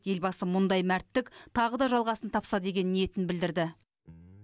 елбасы мұндай мәрттік тағы да жалғасын тапса деген ниетін білдірді